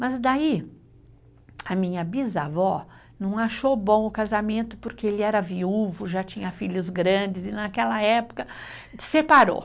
Mas daí a minha bisavó não achou bom o casamento porque ele era viúvo, já tinha filhos grandes e naquela época separou.